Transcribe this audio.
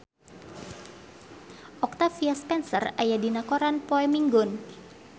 Octavia Spencer aya dina koran poe Minggon